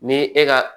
Ni e ka